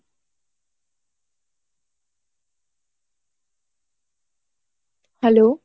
hello?